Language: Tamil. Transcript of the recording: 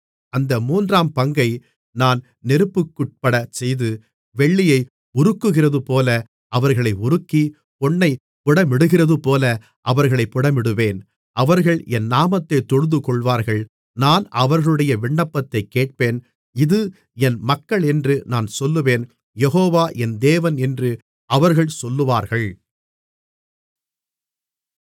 அந்த மூன்றாம் பங்கை நான் நெருப்புக்குட்படச்செய்து வெள்ளியை உருக்குகிறதுபோல அவர்களை உருக்கி பொன்னைப் புடமிடுகிறதுபோல அவர்களைப் புடமிடுவேன் அவர்கள் என் நாமத்தைத் தொழுதுகொள்வார்கள் நான் அவர்களுடைய விண்ணப்பத்தைக் கேட்பேன் இது என் மக்களென்று நான் சொல்லுவேன் யெகோவா என் தேவன் என்று அவர்கள் சொல்லுவார்கள்